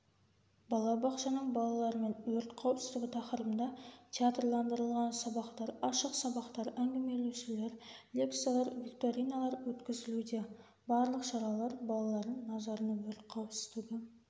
бала бақшаның балаларымен өрт қауіпсіздігі тақырыбында театрландырылған сабақтар ашық сабақтар әңгімелесулер лекциялар викториналар өткізілуде барлық шаралар балалардың назарына өрт қауіпсіздігі